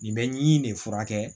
Nin bɛ ɲi in de furakɛ